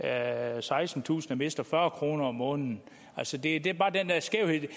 er der sekstentusind der mister fyrre kroner om måneden altså det det er bare den der skævhed i det